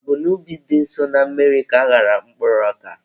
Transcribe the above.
Ọ bụ n'ubi dị nso na mmiri ka aghara mkpụrụ ọka.